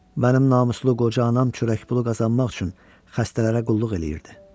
Mənim namuslu qoca anam çörək pulu qazanmaq üçün xəstələrə qulluq eləyirdi.